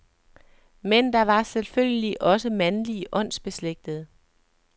Men der var selvfølgelig også mandlige åndsbeslægtede.